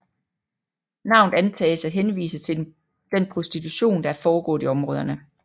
Navnet antages at henvise til den prostitution der er foregået i områderne